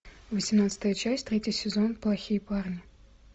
восемнадцатая часть третий сезон плохие парни